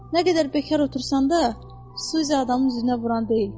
Nə qədər bekar otursan da, Suzy adamın üzünə vuran deyil.